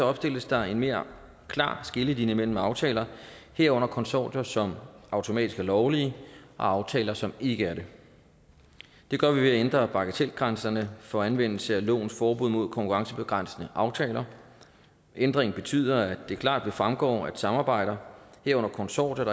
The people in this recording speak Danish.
opstilles der en mere klar skillelinje mellem aftaler herunder konsortier som automatisk er lovlige og aftaler som ikke er det det gør vi ved at ændre bagatelgrænserne for anvendelse af lovens forbud mod konkurrencebegrænsende aftaler ændringen betyder at det klart vil fremgå at samarbejder herunder konsortier